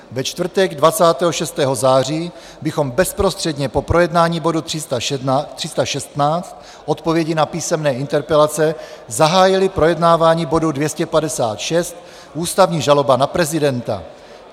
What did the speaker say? Ve čtvrtek 26. září bychom bezprostředně po projednání bodu 316 - odpovědi na písemné interpelace zahájili projednávání bodu 256 - ústavní žaloba na prezidenta.